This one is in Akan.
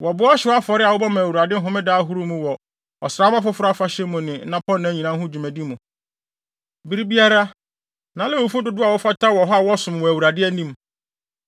Wɔboa ɔhyew afɔre a wɔbɔ ma Awurade homeda ahorow mu wɔ Ɔsram Foforo Afahyɛ mu ne nnapɔnna nyinaa ho dwumadi mu. Bere biara, na Lewifo dodow a wɔfata wɔ hɔ a wɔsom wɔ Awurade anim.